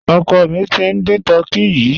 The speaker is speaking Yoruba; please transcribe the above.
Ọ̀kọ́ mí tí n dín tùrkèyì.